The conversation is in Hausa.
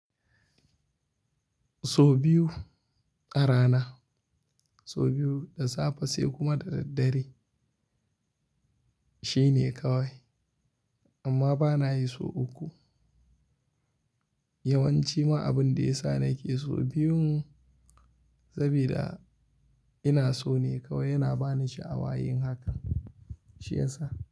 So biyu a rana, so biyu da safe sai kuma da daddare shine kawai. Amma ba na yi sau uku. Yawanci ma abin da ya sa na ke so biyun saboda ina so ne kawai yana ba ni sha'awa yin haka shi ya sa.